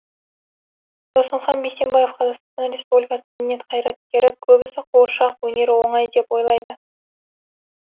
досымхан бейсенбаев қр мәдениет қайраткері көбісі қуыршақ өнері оңай деп ойлайды